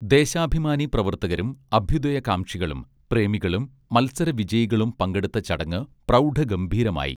ദേശാഭിമാനി പ്രവർത്തകരും അഭ്യുദയകാംക്ഷികളും പ്രേമികളും മൽസര വിജയികളും പങ്കെടുത്ത ചടങ്ങ് പ്രൗഢ ഗംഭീരമായി